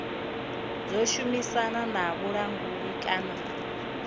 ḓo shumisana na vhulanguli kana